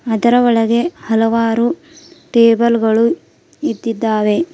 ಅದರ ಒಳಗೆ ಹಲವಾರು ಟೇಬಲ್ ಗಳು ಇಟ್ಟಿದಾವೆ.